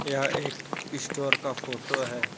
यह एक स्टोर का फोटो है।